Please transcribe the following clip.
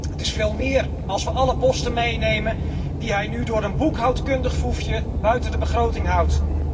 Het is veel meer, als we alle posten in aanmerking nemen die hij nu door een boekhoudkundig foefje buiten de begroting houdt.